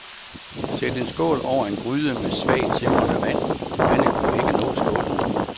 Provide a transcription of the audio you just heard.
Sæt en skål over en gryde med svagt simrende vand, vandet må ikke nå skålen.